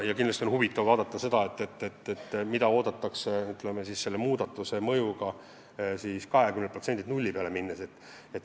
On väga huvitav vaadata, mida on oodata, kui 20% pealt nulli peale läheme.